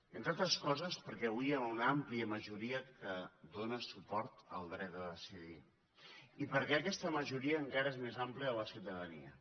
entre altres coses perquè avui hi ha una àmplia majoria que dóna suport al dret a decidir i perquè aquesta majoria encara és més àmplia en la ciutadania